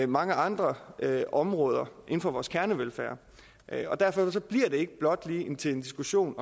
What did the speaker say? mange andre områder inden for vores kernevelfærd derfor bliver det ikke blot lige til en diskussion